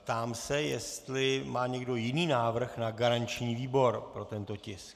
Ptám se, jestli má někdo jiný návrh na garanční výbor pro tento tisk.